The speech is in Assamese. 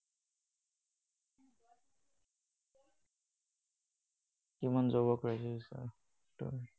কিমান job ৰ crisis হৈছে,